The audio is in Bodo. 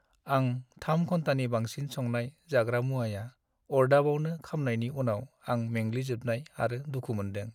आं 3 घन्टानि बांसिन संनाय जाग्रा मुवाया अर्दाबावनो खामनायनि उनाव आं मेंग्लिजोबनाय आरो दुखु मोनदों।